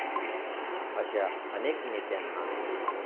अशा अनेक नेत्यांना